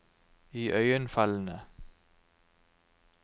iøynefallende